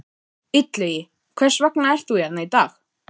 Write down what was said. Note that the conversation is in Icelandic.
Illugi, hvers vegna ert þú hérna í dag?